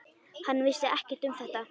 Hann vissi ekkert um þetta.